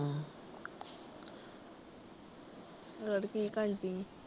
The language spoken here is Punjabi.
ਹੋਰ ਕਿ ਕਰਦੀ ਏ?